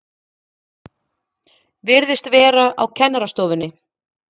Virðist vera á kennarastofunni.